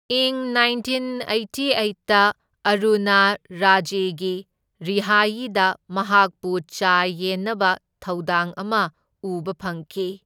ꯏꯪ nineteen eighty ꯑꯩꯠꯇ ꯑꯔꯨꯅꯥ ꯔꯥꯖꯦꯒꯤ ꯔꯤꯍꯥꯌꯤꯗ ꯃꯍꯥꯛꯄꯨ ꯆꯥ ꯌꯦꯟꯅꯕ ꯊꯧꯗꯥꯡ ꯑꯃ ꯎꯕ ꯐꯪꯈꯤ꯫